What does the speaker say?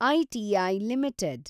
ITI limited